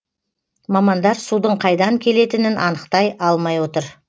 мамандар судың қайдан келетінін анықтай алмай отыр